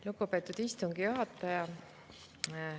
Lugupeetud istungi juhataja!